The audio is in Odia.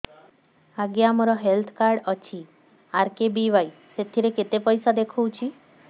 ଆଜ୍ଞା ମୋର ହେଲ୍ଥ କାର୍ଡ ଅଛି ଆର୍.କେ.ବି.ୱାଇ ସେଥିରେ କେତେ ପଇସା ଦେଖଉଛି